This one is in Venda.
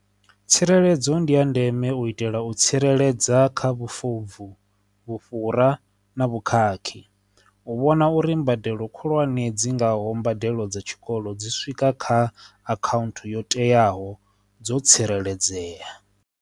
Tsireledzo ndi ya ndeme u itela u tsireledza kha vhufobvu vhufhura na vhukhakhi u vhona uri mbadelo khulwane dzi ngaho mbadelo dza tshikolo dzi swika kha account yo teaho dzo tsireledzea.